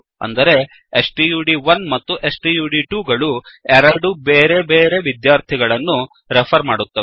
ಅಂದರೆ ಸ್ಟಡ್1 ಮತ್ತು ಸ್ಟಡ್2 ಗಳು ಎರಡು ಬೇರೆ ಬೇರೆ ವಿದ್ಯಾರ್ಥಿಗಳನ್ನು ರೆಫರ್ ಮಾಡುತ್ತವೆ